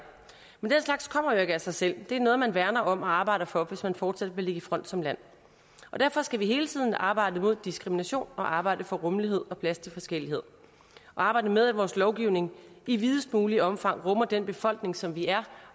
men den slags kommer jo ikke af sig selv det er noget man værner om og arbejder for hvis man fortsat vil ligge i front som land derfor skal vi hele tiden arbejde mod diskrimination og arbejde for rummelighed og plads til forskellighed og arbejde med at vores lovgivning i videst muligt omfang rummer den befolkning som vi er